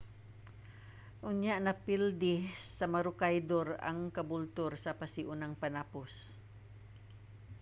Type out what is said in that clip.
unya napildi sa maroochydore ang caboolture sa pasiunang panapos